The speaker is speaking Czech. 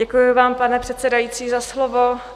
Děkuji vám, pane předsedající, za slovo.